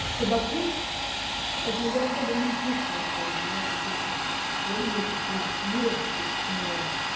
табаку поэтому я особо не чувствую что у меня там пахнет как то в комнате в квартире вот